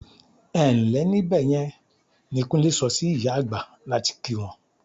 "Ẹ ǹ lẹ́ níbẹ̀ yẹn" ni Kúnlé sọ sí ìyá àgbà láti kí wọn.